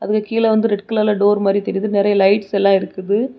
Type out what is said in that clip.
கீழ வந்து ரெட் கலர்ல டோர் மாதிரி தெரியுது. நெறைய லைட்ஸ் எல்லாம் இருக்குது.